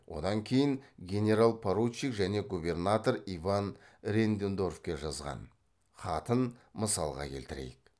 одан кейін генерал поручик және губернатор иван реннедорфке жазған хатын мысалға келтірейік